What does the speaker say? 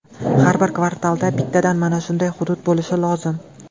Har bir kvartalda bittadan mana shunday hudud bo‘lishi lozim.